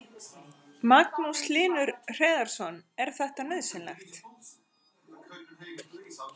Magnús Hlynur Hreiðarsson: Er þetta nauðsynlegt?